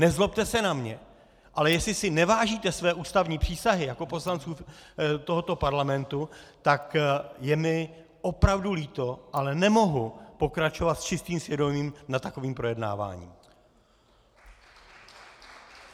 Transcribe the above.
Nezlobte se na mě, ale jestli si nevážíte své ústavní přísahy jako poslanců tohoto parlamentu, tak je mi opravdu líto, ale nemohu pokračovat s čistým svědomím nad takovým projednáváním!